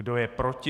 Kdo je proti?